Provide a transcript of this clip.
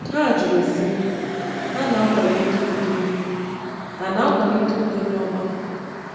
Ha jụrụ, sị: “Ha na-akwalite udo “Ha na-akwalite udo n’ọgbakọ?”